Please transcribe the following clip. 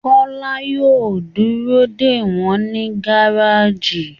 Kọ́lá yóò dúró dè wọ́n ní gáràjì